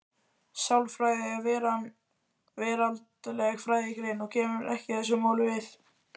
Sálarfræði er veraldleg fræðigrein og kemur ekki þessu máli við.